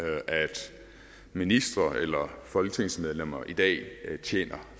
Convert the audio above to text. ministre eller folketingsmedlemmer i dag tjener